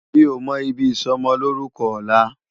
Mi ó mò ibi isòmòlórúkò òlá